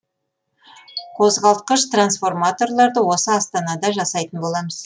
қозғалтқыш трансформаторларды осы астанада жасайтын боламыз